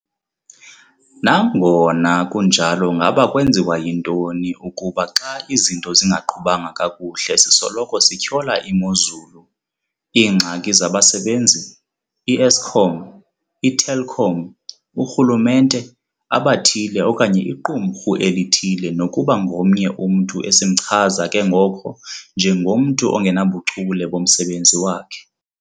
Nangona kunjalo ngaba kwenziwa yintoni ukuba xa izinto zingaqhubanga kakuhle sisoloko sityhola imozulu, iingxaki zabasebenzi, iEskom, iTelkom, urhulumente, abathile okanye iqumrhu elithile nokuba ngomnye umntu esimchaza ke ngoko njengomntu ongenabuchule bomsebenzi wakhe.